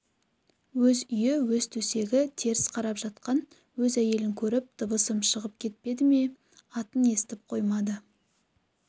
өз үйі өз төсегі теріс қарап жатқан өз әйелін көріп дыбысым шығып кетпеді ме атын естіп қоймады